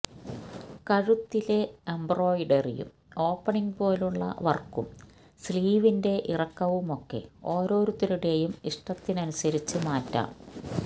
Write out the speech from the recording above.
ക ഴുത്തിലെ എംബ്രോയ്ഡറിയും ഓപണിങ് പോലെയുള്ള വർക്കും സ്ലീവിന്റെ ഇറക്കവുമൊക്കെ ഓരോരുത്തരുടെയും ഇഷ്ടത്തിനനുസരിച്ച് മാറ്റാം